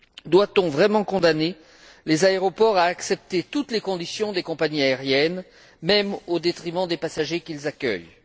Doit on vraiment condamner les aéroports à accepter toutes les conditions des compagnies aériennes, même au détriment des passagers qu'ils accueillent?